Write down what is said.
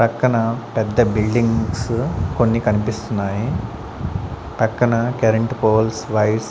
పక్కన పెద్ద బిల్డింగ్స్ కొన్ని కనిపిస్తున్నాయి పక్కన కరెంట్ పోల్స్ వైర్స్ .